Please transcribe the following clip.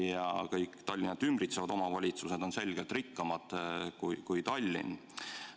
Ja kõik Tallinna ümbritsevad omavalitsused on selgelt rikkamad kui Tallinn.